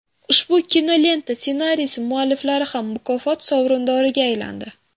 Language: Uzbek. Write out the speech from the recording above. Ushbu kinolenta ssenariysi mualliflari ham mukofot sovrindoriga aylandi.